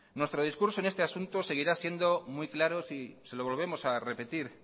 nuestro discurso en este asunto seguirá siendo muy claro si se lo volvemos a repetir